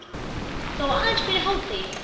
Þó aðeins fyrir hádegi.